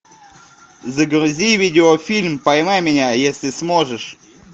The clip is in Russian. загрузи видеофильм поймай меня если сможешь